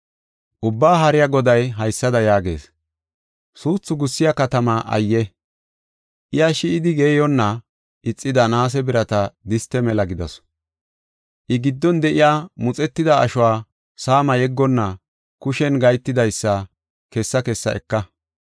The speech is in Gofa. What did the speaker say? Ubbaa Haariya Goday haysada yaagees: “Suuthu gussiya katamaa ayye! Iya shi7idi geeyonna ixida naase birata diste mela gidasu. I giddon de7iya muxetida ashuwa saama yeggonna kushen gahetidaysa kessa kessa eka.